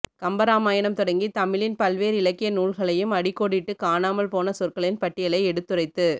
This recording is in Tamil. கம்ப ராமாயணம் தொடங்கி தமிழின் பல்வேறு இலக்கிய நூல்களையும் அடிக்கோடிட்டு காணாமல் போன சொற்களின் பட்டியலை எடுத்துரைத்து